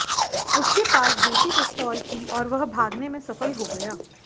उसके पास देसी पिस्तौल थी और वह भागने में सफल हो गया